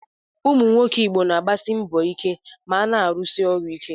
Ụmụ nwoke Igbo na-agbasi mbọ ike ma na-arụsi ọrụ ike.